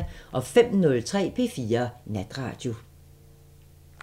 05:03: P4 Natradio